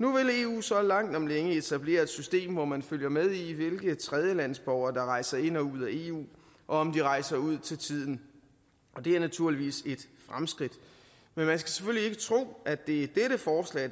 nu vil eu så langt om længe etablere et system hvor man følger med i hvilke tredjelandsborgere der rejser ind og ud af eu og om de rejser ud til tiden og det er naturligvis et fremskridt men man skal selvfølgelig ikke tro at det